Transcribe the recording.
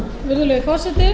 virðulegi forseti þetta